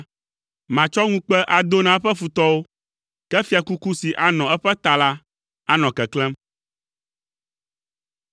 Matsɔ ŋukpe ado na eƒe futɔwo, ke fiakuku si anɔ eƒe ta la, anɔ keklẽm.”